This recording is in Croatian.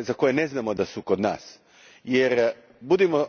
za koje ne znamo da su kod nas jer budimo